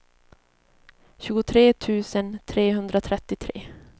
tjugotre tusen trehundratrettiotre